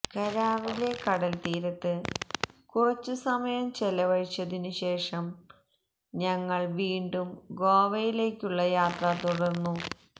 കാര്വാറിലെ കടല്ത്തീരത്ത് കുറച്ചു സമയം ചെലവഴിച്ചതിനു ശേഷം ഞങ്ങള് വീണ്ടും ഗോവയിലേക്കുള്ള യാത്ര തുടര്ന്നു